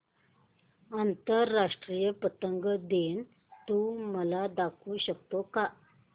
आंतरराष्ट्रीय पतंग दिन तू मला दाखवू शकतो का